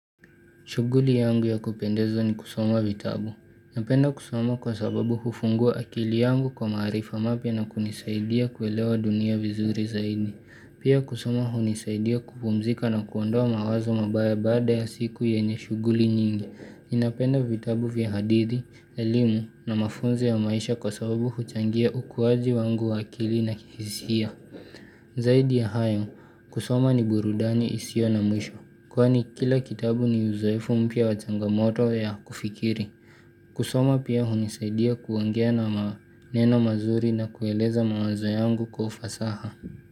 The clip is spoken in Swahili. Shughuli yangu ya kupendeza ni kusoma vitabu. Napenda kusoma kwa sababu hufungua akili yangu kwa maarifa mapya na kunisaidia kuelewa dunia vizuri zaidi. Pia kusoma hunisaidia kupumzika na kuondoa mawazo mabaya baada ya siku yenye shughuli nyingi. Napenda vitabu vya hadithi, elimu na mafunzo ya maisha kwa sababu huchangia ukuwaji wangu wa akili na kihisia. Zaidi ya hayo, kusoma ni burudani isiyo na mwisho. Kwani kila kitabu ni uzoefu mpya wa changamoto ya kufikiri. Kusoma pia hunisaidia kuongea na maneno mazuri na kueleza mawazo yangu kwa ufasaha.